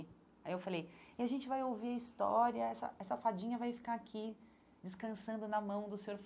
Aí eu falei, e a gente vai ouvir a história, essa essa fadinha vai ficar aqui descansando na mão do Sr.